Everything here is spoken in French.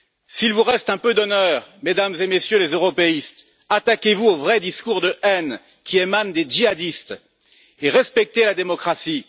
S'il vous reste un peu d'honneur, Mesdames et Messieurs les européistes, attaquez vous aux vrais discours de haine qui émanent des djihadistes et respectez la démocratie.